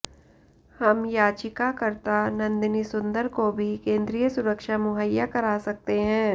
हम याचिकाकर्ता नंदिनी सुंदर को भी केंद्रीय सुरक्षा मुहैया करा सकते हैं